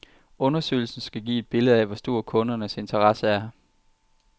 Undersøgelsen skal give et billede af, hvor stor kundernes interesse er.